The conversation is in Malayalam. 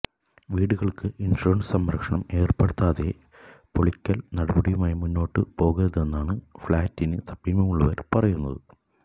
വീടുകള്ക്ക് ഇന്ഷുറന്സ് സംരക്ഷണം ഏര്പ്പെടുത്താതെ പൊളിക്കല് നടപടിയുമായി മുന്നോട്ടു പോകരുതെന്നാണ് ഫ്ലാറ്റിനു സമീപമുള്ളവര് പറയുന്നത്